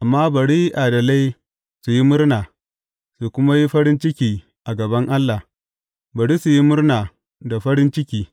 Amma bari adalai su yi murna su kuma yi farin ciki a gaban Allah; bari su yi murna da farin ciki.